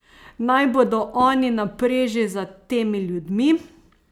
Naj bodo oni na preži za temi ljudmi!